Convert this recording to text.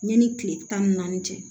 Yanni kile tan ni naani cɛ